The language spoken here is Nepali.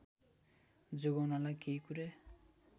जोगाउनलाई केही कुरा